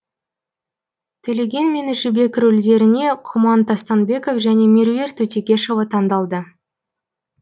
төлеген мен жібек рөлдеріне құман тастанбеков және меруерт өтекешева таңдалды